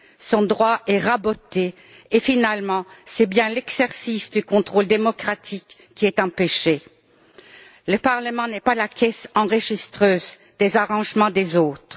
son droit est raboté et, finalement, c'est bien l'exercice du contrôle démocratique qui est empêché. Le Parlement n'est pas la caisse enregistreuse des arrangements des autres.